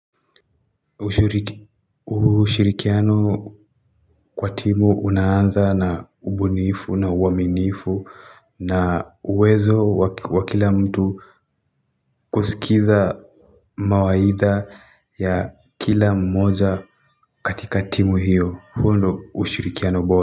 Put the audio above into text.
Ushirikiano kwa timu unaanza na ubunifu na uaminifu na uwezo wa kila mtu kusikiza mawaidha ya kila mmoja katika timu hiyo huo ndo ushirikiano bora.